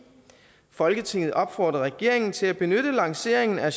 folketinget opfordrer regeringen til at benytte lanceringen af